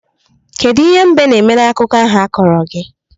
Kedu ihe mbe na-eme n'akụkọ ahụ a kọrọ gi?